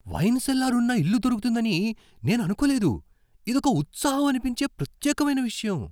Wine cellar ఉన్న ఇల్లు దొరుకుతుందని నేను అనుకోలేదు. ఇదొక ఉత్సాహం అనిపించే, ప్రత్యేకమైన విషయం .